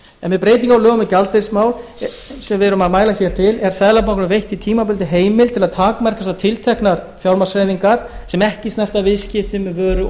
en við breytingar á lögum um gjaldeyrismál sem við erum að mæla hér fyrir er seðlabankanum veitt tímabundin heimild til þess að takmarka þessar tilteknu fjármagnshreyfingar sem ekki snerta viðskipti með vöru